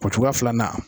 O cogoya filanan